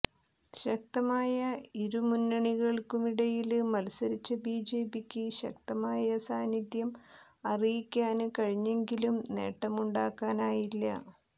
ശക്തമായ ഇരുമുന്നണികള്ക്കുമിടയില് മത്സരിച്ച ബിജെപിക്ക് ശക്തമായ സാന്നിധ്യം അറിയിക്കാന് കഴിഞ്ഞെങ്കിലും നേട്ടമുണ്ടാക്കാനായില്ല